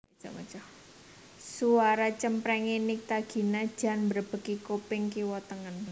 Suara cempreng e Nycta Gina jan mbrebeki kuping kiwa tengen